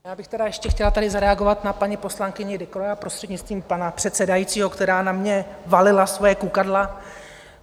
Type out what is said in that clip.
Já bych tedy ještě chtěla tady zareagovat na paní poslankyni Decroix, prostřednictvím pana předsedajícího, která na mě valila svoje kukadla.